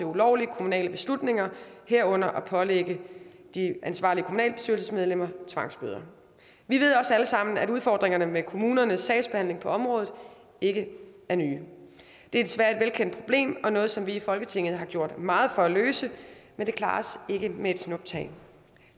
ulovlige kommunale beslutninger herunder pålægge de ansvarlige kommunalbestyrelsesmedlemmer tvangsbøder vi ved også alle sammen at udfordringerne med kommunernes sagsbehandling på området ikke er nye det er desværre et velkendt problem og noget som vi i folketinget har gjort meget for at løse men det klares ikke med et snuptag